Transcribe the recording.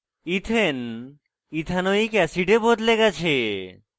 ethane ethanoic অ্যাসিডে বদলে গেছে